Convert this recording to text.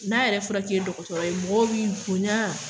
N'a yɛrɛ fɔra k'i ye dɔgɔtɔrɔ ye mɔgɔw b'i bonya